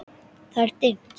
Það er dimmt.